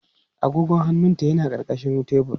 Agogon hannunta yana ƙarƙashin tebur.